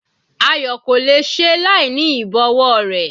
Ayo kò le è ṣe láìní ìbọ̀wọ́ rẹ̀.